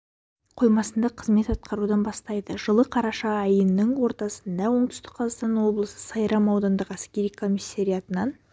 қоймасында қызмет атқарудан бастайды жылы қараша айының ортасында оңтүстік қазахстан облысы сайрам аудандық әскери комиссариятынан